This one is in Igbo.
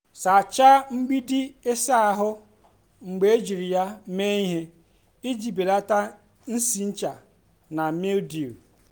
sachaa mgbidi ịsa ahụ mgbe ejiri ya mee ihe iji belata nsị ncha na mildew.